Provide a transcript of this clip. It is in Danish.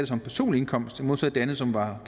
som personlig indkomst modsat det andet som var